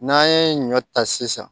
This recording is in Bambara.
N'an ye ɲɔ ta sisan